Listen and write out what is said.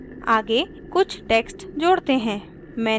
आगे कुछ text जोड़ते हैं